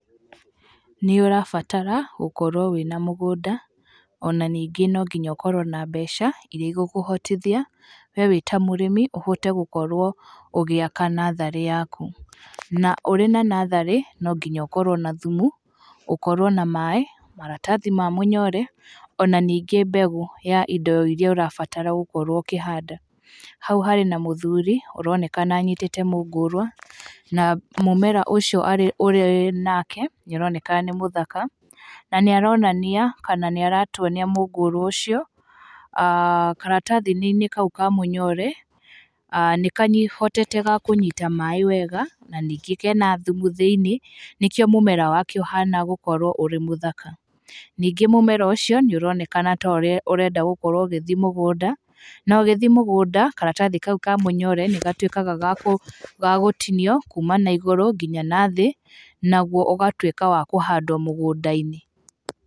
Nĩ ũrabatara gukorwo wĩna mũgũnda ona ningĩ no nginya ũkorwo na mbeca irĩa igũkũhotithia we wĩta mũrĩmi gũkorwo ũgĩaka natharĩ yaku. Ũrĩ na natharĩ no nginya ũkorwo na thumu, ukorwo na maaĩ, maratathi ma mũnyore, ona ningĩ mbegũ ya indo irĩa ũrabatara gũkorwo ũkĩhanda. Hau harĩ na mũthuri ũronekana anyitĩte mũngũrũa na mũmera ũcio ũrĩ nake nĩ ũroneka nĩ mũthaka na nĩ aronania kana nĩ aratuonia mũngũrũ ũcio, karatathi-inĩ kau ka mũnyore, nĩ kahotete ga kũnyita maaĩ wega na ningĩ kena thumu thĩiniĩ, nĩkĩo mũmera wake ũhana gũkorwo ũrĩ mũthaka. Ningĩ mũmera ũcio nĩ ũronekana ta ũrenda gũkorwo ũgĩthiĩ mũgũnda. Na ũgĩthiĩ mũgũnda karatathi kau ka mũnyore nĩ gatuĩkaga ga gũtinio kuma na igũrũ nginya na thĩ, naguo ũgatuĩka wa kũhandwo mũgũnda-inĩ.